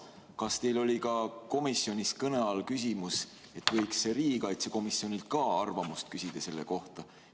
Kas teil oli komisjonis kõne all küsimus, et võiks riigikaitsekomisjonilt ka arvamust küsida selle kohta?